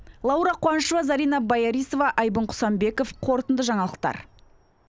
лаура қуанышева зарина боярисова айбын құсанбеков қорытынды жаңалықтар